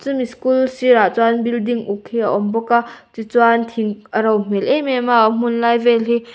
chumi school sirah chuan building uk hi a awm bawk a tih chuan thing a ro hmel em em a a hmunlai vel hi--